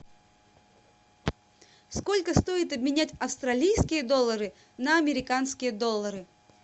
сколько стоит обменять австралийские доллары на американские доллары